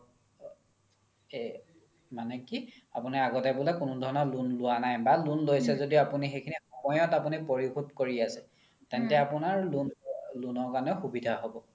মানে কি আপোনাৰ আগতে বুলে কোনো ধৰণৰ loan লুৱা নাই বা loan লৈছে য্দিও সময়ত আপোনি পৰিসুধ কৰি আছে তেন্তে আপোনাৰ loan ৰ কাৰণে সুবিধা হ্'ব